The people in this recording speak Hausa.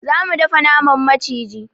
Za mu dafa naman maciji.